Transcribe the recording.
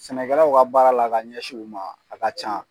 Sɛnɛkɛlaw ka baara la ka ɲɛsin u ma a ka ca.